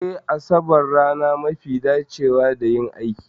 Eh Asabar rana mafi dacewa da yin aikin